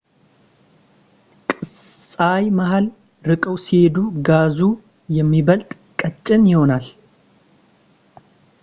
ከፀሐይ መሃል ርቀው ሲሄዱ ጋዙ ይበልጥ ቀጭን ይሆናል